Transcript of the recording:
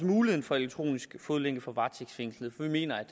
mulighed for elektronisk fodlænke for varetægtsfængslede for vi mener